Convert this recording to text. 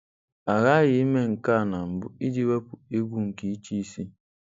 A ghaghị ime nke a na mbụ iji wepụ egwu nke ịchịisi.